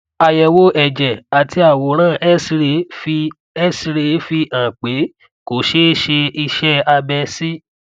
àyẹwò ẹjẹ àti àwòrán xray fi xray fi hàn pé kò ṣe é ṣe iṣẹ abẹ sí